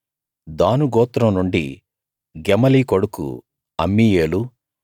దాను గోత్రం నుండి గెమలి కొడుకు అమ్మీయేలు